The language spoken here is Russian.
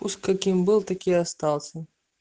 уж каким был таким и остался